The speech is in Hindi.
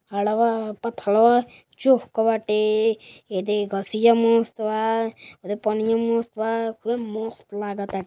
पाथलवा चोक वाटे ए दे घसियां मस्त बा पनियाँ मस्त बा खूबे मस्त लाग ताटे ।